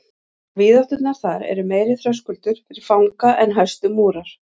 Víðátturnar þar eru meiri þröskuldur fyrir fanga en hæstu múrar.